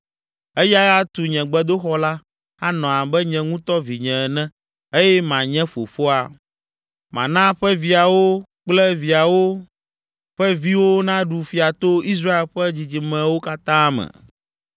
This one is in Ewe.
Eyae atu nye gbedoxɔ la, anɔ abe nye ŋutɔ vinye ene eye manye fofoa. Mana ƒe viawo kple viawo ƒe viwo naɖu fia to Israel ƒe dzidzimewo katã me!’